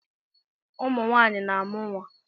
Ụmụ nwaanyị na-amụ nwa.